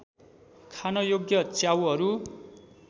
खान योग्य च्याउहरू